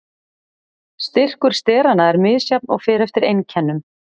Styrkur steranna er misjafn og fer eftir einkennum.